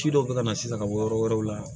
Ci dɔ be ka na sisan ka bɔ yɔrɔ wɛrɛw la